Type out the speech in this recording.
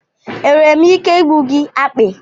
Enwere m ike igbu gị akpị?